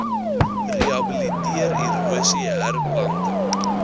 rehabiliteer erosie herplanting